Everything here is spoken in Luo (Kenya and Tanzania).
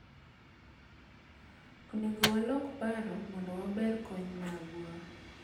onego walok paro mondo waber kony magwa